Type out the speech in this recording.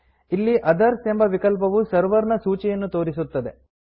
ಇಲ್ಲಿ others others ಎಂಬ ವಿಕಲ್ಪವು ಸರ್ವರ್ ನ ಸೂಚಿಯನ್ನು ತೋರಿಸುತ್ತದೆ